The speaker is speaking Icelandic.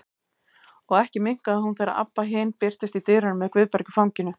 Og ekki minnkaði hún þegar Abba hin birtist í dyrunum með Guðberg í fanginu.